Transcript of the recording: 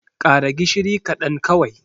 ƙara gishiri kaɗan kawai!